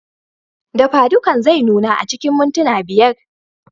Dafadukan zai nuna a cikin mintuna biyar.